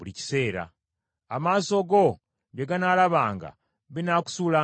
Amaaso go bye ganaalabanga binaakusuulanga eddalu.